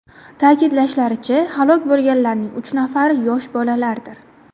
Ta’kidlashlaricha, halok bo‘lganlarning uch nafari – yosh bolalardir.